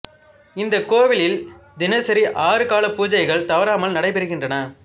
இந்த கோவிலில் தினசரி ஆறு கால பூஜைகள் தவறாமல் நடைபெறுகின்றன